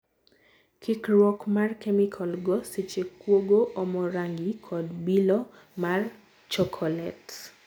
Kikrwuok mar kemikal go seche kuogo omo rangi kod bilo mar chokolate.